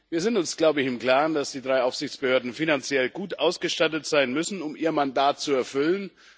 Wir sind uns glaube ich im Klaren, dass die drei Aufsichtsbehörden finanziell gut ausgestattet sein müssen, um ihr Mandat zu erfüllen.